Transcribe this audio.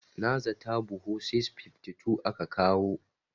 Na zata buhu 652 aka kawo.